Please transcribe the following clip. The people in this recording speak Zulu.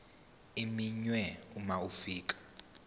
iminwe uma ufika